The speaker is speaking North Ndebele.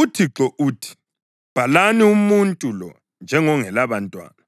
UThixo uthi: “Bhalani umuntu lo njengongelabantwana,